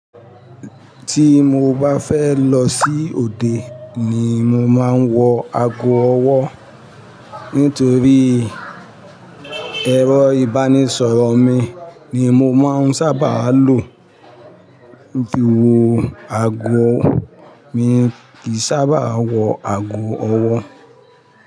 Tí mo bá fẹ́ lọ sí òde ni mo máa ń wọ ago ọwọ́, nítorí ẹrọ ìbánisọ̀rọ̀ mi ni mo máa ń sábà lò. Ju àgọ̀ mi kì í sábàà wọ ago ọwọ́.